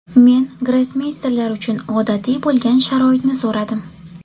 Men grossmeysterlar uchun odatiy bo‘lgan sharoitni so‘radim.